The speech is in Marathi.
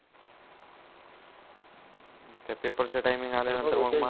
त्यात पेपर चा टाइमिंग आल्यानंतर मग